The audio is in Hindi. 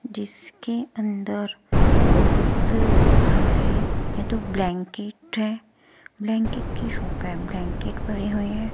जिसके अंदर बहुत सारे यह तो ब्लैंकेट हैं। ब्लैंकेट की शॉप है। ब्लैंकेट भरे हुए हैं।